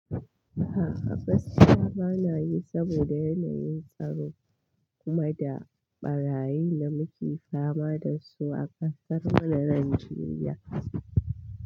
A'a, gaskiya ba na yi saboda yanayin tsaro. Kuma da ɓarayin da muke fama da su a ƙasar mu na Najeriya.